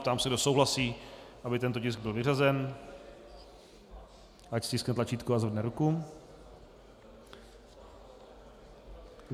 Ptám se, kdo souhlasí, aby tento tisk byl vyřazen, ať stiskne tlačítko a zvedne ruku.